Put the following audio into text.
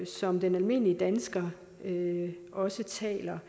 som den almindelige dansker også taler